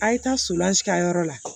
A' ye taa ka yɔrɔ la